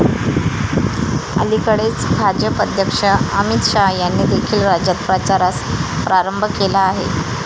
अलिकडेच भाजप अध्यक्ष अमित शाह यांनी देखील राज्यात प्रचारास प्रारंभ केला आहे.